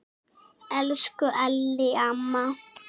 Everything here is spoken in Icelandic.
Elsku Ellý amma.